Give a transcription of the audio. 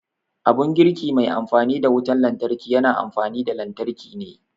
Abun girki mai amfani da wutar lantarki yana amfani da lantarki ne